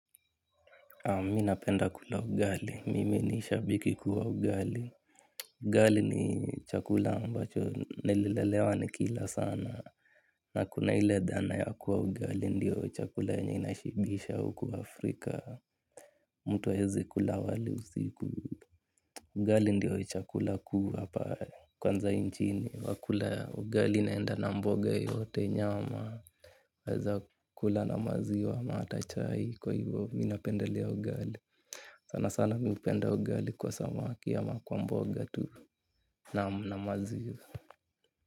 Mi napenda kula ugali. Mimi ni shabiki wa ugali. Ugali ni chakula ambacho nililelewa nikila sana. Na kuna hile dhana ya kuwa ugali ndiyo chakula yenye inashibisha huku Afrika. Mtu haezi kula wali usiku. Ugali ndiyo chakula kuu hapa, kwanza inchini. Nakula ugali inaenda na mboga yoyote nyama. Waeza kula na maziwa ama hata chai kwa hivyo mi napendelea ugali. Sana sana mi hupenda ugali kwa samaki ama kwa mboga tu naam na maziwa.